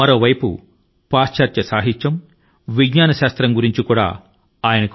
వారి కి పాశ్చాత్య సాహిత్యం లో విజ్ఞాన శాస్త్రంపైనా పరిజ్ఞానం ఉంది